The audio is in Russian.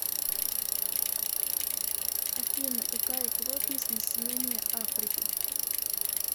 афина какая плотность населения африки